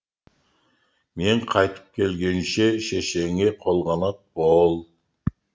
мен қайтып келгенше шешеңе қолғанат бол